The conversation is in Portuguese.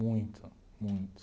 Muito, muito.